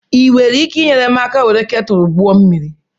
Ị nwere ike ịnyere m aka were ketulu gbuo mmiri?